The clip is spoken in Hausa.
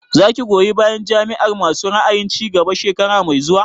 Za ki goyi bayan Jam'iyar masu ra'ayin cigaba shekara mai zuwa?